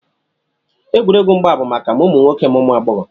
Egwuregwu mgba bụ maka ma ụmụ nwoke ma ụmụ agbọghọ